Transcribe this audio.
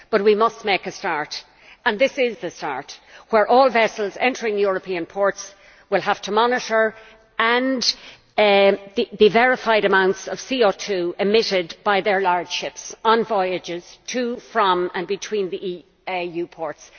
But we must make a start, and this is the start, where all vessels entering European ports will have to monitor the verified amounts of CO2 emitted by their large ships on voyages to, from and between the EU ports.